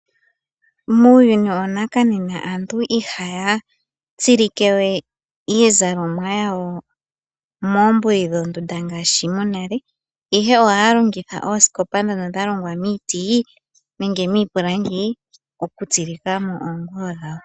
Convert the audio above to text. Muuyuni wanakanena aantu ihaya tsilike we iizalomwa yawo moombuli dhondunda ngaashi monale ihe ohaya longitha oosikopa ndhono dha longwa miiti nenge miipilangi okutsilika mo oonguwo dhawo.